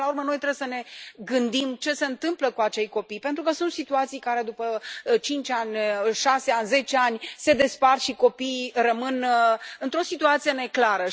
Până la urmă noi trebuie să ne gândim ce se întâmplă cu acei copii, pentru că sunt situații în care după 5 ani, 6 ani, 10 ani se despart și copiii rămân într o situație neclară.